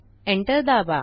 enter दाबा